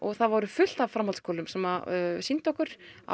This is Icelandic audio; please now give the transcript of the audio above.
það voru fullt af framhaldsskólum sem sýndu okkur á